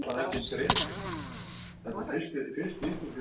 Hvítur er góu bróðir.